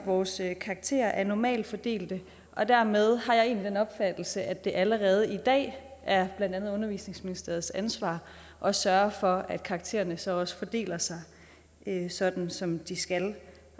vores karakterer er en normalfordeling og dermed har jeg egentlig den opfattelse at det allerede i dag er blandt andet undervisningsministeriets ansvar at sørge for at karaktererne så også fordeler sig sådan som de skal